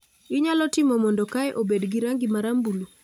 Inyalo timo mondo kae obed gi rangi marambulu